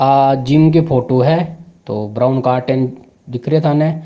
आ जिम का फोटो है तो बरौन कार्टन दिख रो है थान।